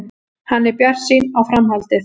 Hann er bjartsýnn á framhaldið.